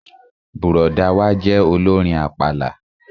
Bùrọ̀dá wa jẹ́ olórin àpàlà